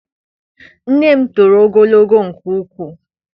Nne m toro ogologo nke ukwuu.